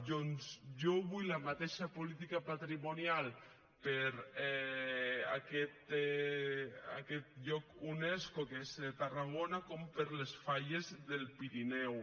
doncs jo vull la mateixa política patrimonial tant per a aquest lloc unesco que és tarragona com per a les falles del pirineu